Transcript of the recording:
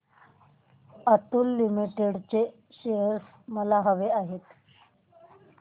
Atul limited चे shares मला हवे आहेत